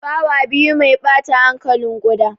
Fawa biyu mai ɓata hankalin ƙuda.